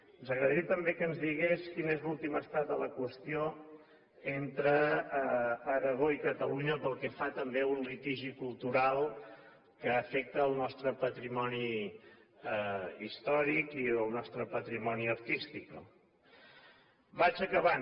ens agradaria també que ens digués quin és l’últim estat de la qüestió entre aragó i catalunya pel que fa també a un litigi cultural que afecta el nostre patrimoni històric i el nostre patrimoni artístic no vaig acabant